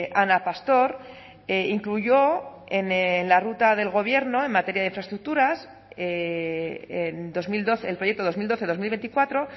ana pastor incluyó en la ruta del gobierno en materia de infraestructuras en dos mil doce el proyecto dos mil doce dos mil veinticuatro